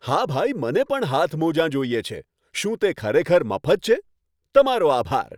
હા ભાઈ, મને પણ હાથમોજાં જોઈએ છે. શું તે ખરેખર મફત છે? તમારો આભાર!